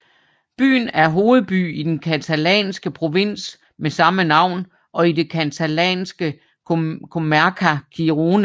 Byen er hovedby i den catalanske provins med samme navn og i det catalanske comarca Gironès